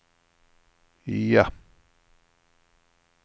ja